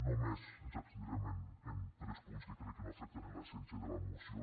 només ens abstindrem en tres punts que crec que no afecten l’essència de la moció